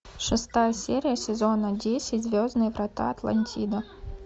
шестая серия сезона десять звездные врата атлантида